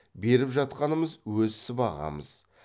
беріп жатқанымыз өз сыбағамыз